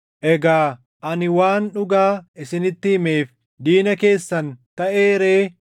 Egaa ani waan dhugaa isinitti himeef diina keessan taʼee ree?